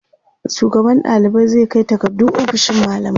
shugaban ɗalibai zai Kai takardu ofishin mallamai